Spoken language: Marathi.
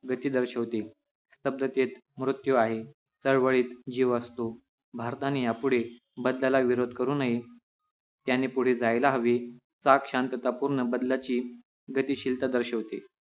गती दर्शवते स्तब्धतेत मृत्यु आहे चळवळीत जीव असतो भारताने यापुढे बदलेला विरोध करू नये त्यांनी पुढे जायला हवे चाक शांततापूर्ण बदलाची गतिशीलता दर्शवते